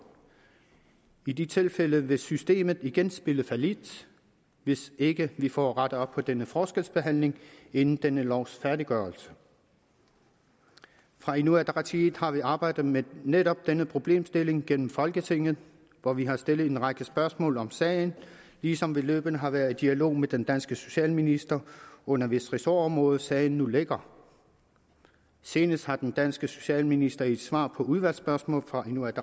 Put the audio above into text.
i de tilfælde vil systemet igen spille fallit hvis ikke vi får rettet op på denne forskelsbehandling inden denne lovs færdiggørelse fra inuit ataqatigiit har vi arbejdet med netop denne problemstilling gennem folketinget hvor vi har stillet en række spørgsmål om sagen ligesom vi løbende har været i dialog med den danske socialminister under hvis ressortområde sagen nu ligger senest har den danske socialminister i et svar på udvalgsspørgsmål fra inuit